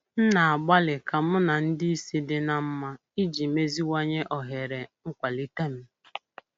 M na-agbalị ka mụ na ndị isi di na mma iji meziwanye ohere nkwalite m.